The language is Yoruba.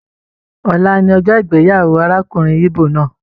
Ọ̀la ní ọjọ ìgbéyàwó arákùnrin igbó náà.